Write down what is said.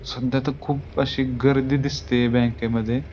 सध्या तर खुप अशी गर्दी दिसते बँके मध्ये.